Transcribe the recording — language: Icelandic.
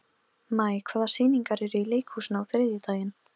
Og Ólafur Tómasson á ættir að rekja til Grettis.